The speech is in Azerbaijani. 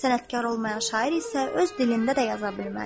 Sənətkar olmayan şair isə öz dilində də yaza bilməz.